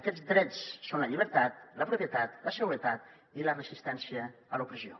aquests drets són la llibertat la propietat la seguretat i la resistència a l’opressió